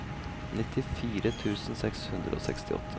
nittifire tusen seks hundre og sekstiåtte